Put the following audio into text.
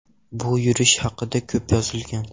Bu urush haqida ko‘p yozilgan.